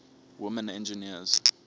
women engineers